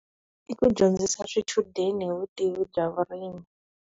I ku dyondzisa swichudeni hi vutivi bya vurimi.